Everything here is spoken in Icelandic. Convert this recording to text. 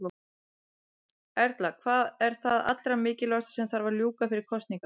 Erla: Hvað er það allra mikilvægasta sem að þarf að ljúka fyrir kosningar?